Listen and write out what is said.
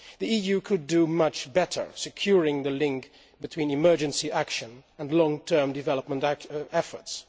The EU could do much better securing the link between emergency action and long term development efforts.